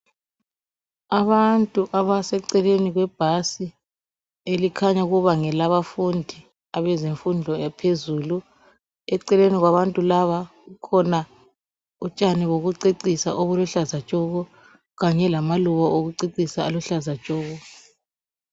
Abantu abaseceleni kwebhasi elikhanya ukuba ngelabafundi abezemfundo yaphezulu. Eceleni kwabantu laba kukhona utshani bokucecisa obuluhlaza tshoko kanye lamaluba okucecisa aluhlaza tshoko.